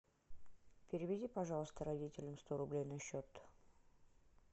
переведи пожалуйста родителям сто рублей на счет